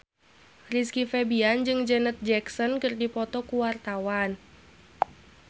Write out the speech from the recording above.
Rizky Febian jeung Janet Jackson keur dipoto ku wartawan